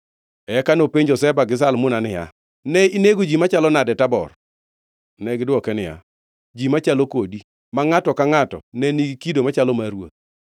Eka nopenjo Zeba kod Zalmuna niya, “Ne inego ji machalo nade Tabor?” Negidwoke niya, “Ji machalo kodi, ma ngʼato ka ngʼato ne nigi kido machalo mar ruoth.”